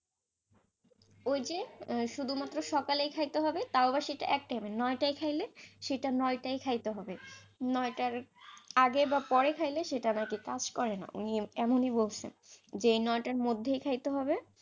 আহ শুধুমাত্র সকালেই খাইতে হবে, তাও আবার সেটা এক time এ নয়টায় খাইলে সেটা নয়টা খাইতে হবে, নয়টার আগে বা পরে খাইলে নাকি সেটা কাজ করেনা, এমনি বলছে যে নয়টার মধ্যে খাইতে হবে,